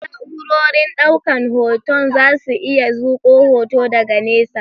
Waɗansu na'urorin ɗaukan hoton zasu iya zuƙo hoto daga nesa.